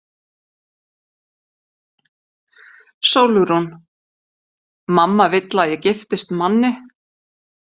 SÓLRÚN: Mamma vill að ég giftist manni.